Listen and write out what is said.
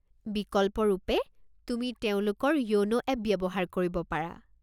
বিকল্পৰূপে, তুমি তেওঁলোকৰ য়োনো এপ ব্যৱহাৰ কৰিব পাৰা।